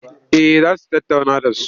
Eh za su tattauna da su.